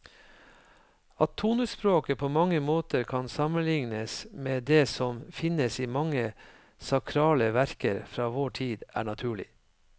At tonespråket på mange måter kan sammenlignes med det som finnes i mange sakrale verker fra vår tid, er naturlig.